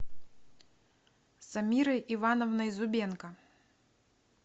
самирой ивановной зубенко